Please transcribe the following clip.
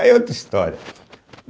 Aí é outra história.